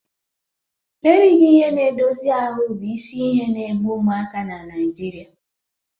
Erighị ihe na-edozi ahụ́ bụ isi ihe na-egbu ụmụaka na Naijiria